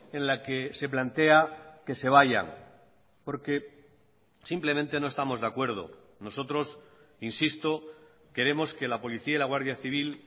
en la que se plantea que se vayan porque simplemente no estamos de acuerdo nosotros insisto queremos que la policía y la guardia civil